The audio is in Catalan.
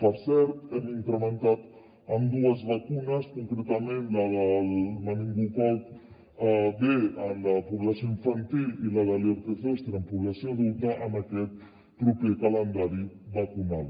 per cert hem incrementat amb dues vacunes concretament la del meningococ b en la població infantil i la de l’herpes zòster en població adulta en aquest proper calendari vacunal